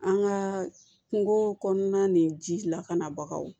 An ka kungo kɔnɔna ni ji lakanabagaw